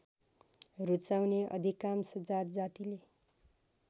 रुचाउने अधिकांश जातजातिले